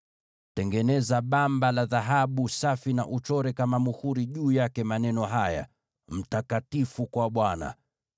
“Tengeneza bamba la dhahabu safi na uchore juu yake maneno haya kama vile muhuri huchorwa: Mtakatifu kwa Bwana .